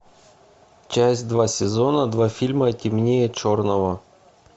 часть два сезона два фильма темнее черного